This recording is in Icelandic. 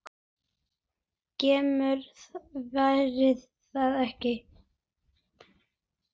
GRÍMUR: Var það ekki!